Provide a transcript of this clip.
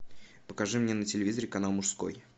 покажи мне на телевизоре канал мужской